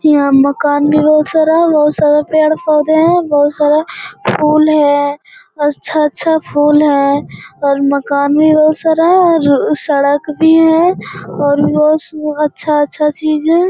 यहाँ मकान भी बहुत सारा बहुत सारा पेड़-पौधे हैं बहुत सारा फूल है अच्छा अच्छा फूल है और मकान भी बहुत सारा है सड़क भी है और अच्छा-अच्छा चीज़ है।